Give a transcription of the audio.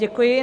Děkuji.